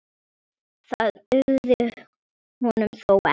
Það dugði honum þó ekki.